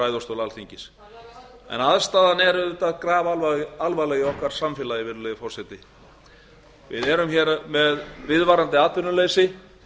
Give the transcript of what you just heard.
ræðustól alþingis aðstaðan er auðvitað grafalvarleg í okkar samfélagi virðulegi forseti við erum hér með viðvarandi atvinnuleysi